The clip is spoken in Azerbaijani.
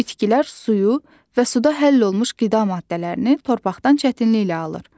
Bitkilər suyu və suda həll olunmuş qida maddələrini torpaqdan çətinliklə alır.